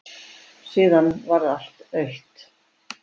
Síðan varð allt autt.